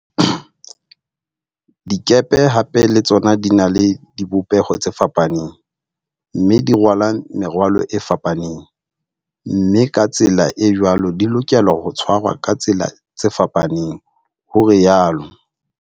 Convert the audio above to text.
Dikepe hape le tsona di na le di bopeho tse fapaneng mme di rwala merwalo e fapaneng, mme ka tsela e jwalo di lokela ho tshwarwa ka tsela tse fapaneng, ho rialo.